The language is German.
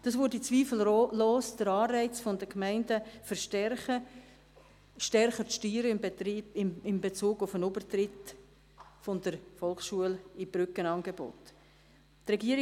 Das würde zweifellos den Anreiz der Gemeinden erhöhen, in Bezug auf den Übertritt von der Volksschule in Brückenangebote stärker zu steuern.